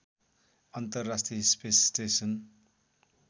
अन्तर्राष्ट्रिय space station